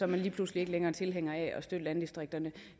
man lige pludselig ikke længere tilhænger af at støtte landdistrikterne